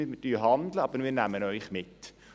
«Schaut, wir handeln, aber wir nehmen euch mit.»